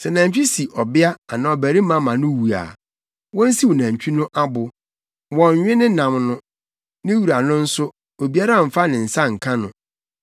“Sɛ nantwi si ɔbea anaa ɔbarima ma no wu a, wonsiw nantwi no abo. Wɔnnwe ne nam no. Ne wura no nso, obiara mmfa ne nsa nka no,